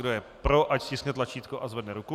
Kdo je pro, ať stiskne tlačítko a zvedne ruku.